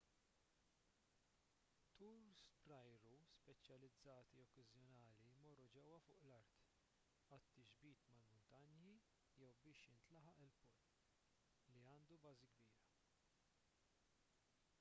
turs bl-ajru speċjalizzati okkażjonali jmorru ġewwa fuq l-art għat-tixbit mal-muntanji jew biex jintlaħaq il-pol li għandu bażi kbira